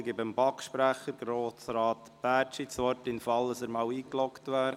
Ich erteile dem BaK-Sprecher, Grossrat Bärtschi, das Wort, sobald er in die Rednerliste eingeloggt ist.